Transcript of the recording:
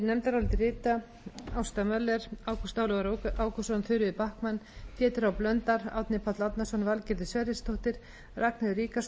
nefndarálitið rita ásta möller ágúst ólafur ágústsson þuríður backman pétur h blöndal árni páll árnason valgerður sverrisdóttir ragnheiður ríkharðsdóttir